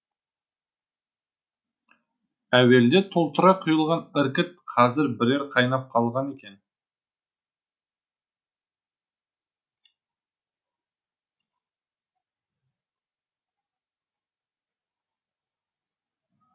әуелде толтыра құйылған іркіт қазір бірер қайнап қалған екен